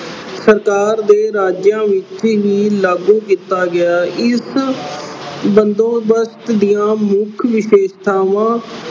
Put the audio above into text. ਸਰਕਾਰ ਦੇ ਰਾਜਿਆਂ ਉੱਤੇ ਹੀ ਲਾਗੂ ਕੀਤਾ ਗਿਆ। ਇਸ ਬੰਦੋਬਸਤ ਦੀਆਂ ਮੁੱਖ ਵਿਸ਼ੇਸ਼ਤਾਵਾਂ